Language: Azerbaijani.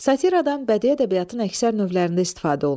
Satiradan bədii ədəbiyyatın əksər növlərində istifadə olunur.